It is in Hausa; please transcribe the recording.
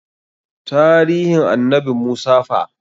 Taarihin annabi Musa fa?